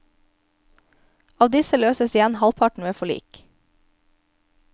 Av disse løses igjen halvparten ved forlik.